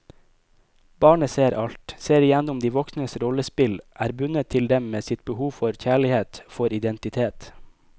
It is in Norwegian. Barnet ser alt, ser igjennom de voksnes rollespill, er bundet til dem med sitt behov for kjærlighet, for identitet.